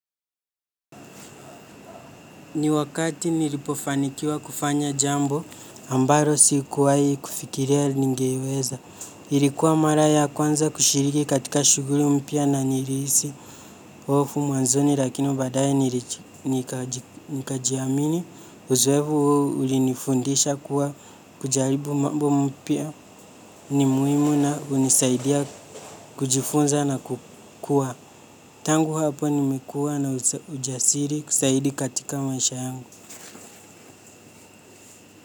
Ni wakati nilipofanikiwa kufanya jambo ambaro sikuwai kufikiria ningeiweza. Ilikuwa mara ya kwanza kushiriki katika shughuli mpya na nirihisi. Hofu mwanzoni lakini baadaye niriji nikaji nika jiamini uzoevu huo ulinifundisha kuwa kujaribu mambo mpya ni muhimu na hunisaidia kujifunza na kukua. Tangu hapo nimekuwa na ujasiri kusaidi katika maisha yangu.